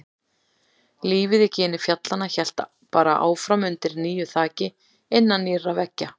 Lífið í gini fjallanna hélt bara áfram undir nýju þaki, innan nýrra veggja.